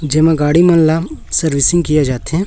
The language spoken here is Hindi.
गाड़ी सर्व्हिसिंग किए जाते हैं।